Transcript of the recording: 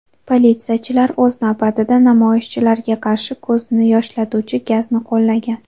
Politsiyachilar, o‘z navbatida, namoyishchilarga qarshi ko‘zni yoshlatuvchi gazni qo‘llagan.